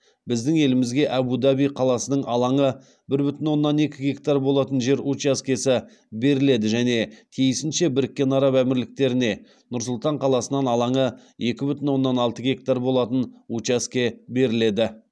біздің елімізге әбу даби қаласынын алаңы бір бүтін оннан екі гектар болатын жер учаскесі беріледі және тиісінше біріккен араб әмірліктеріне нұр сұлтан қаласынан алаңы екі бүтін оннан алты гектар болатын учаске беріледі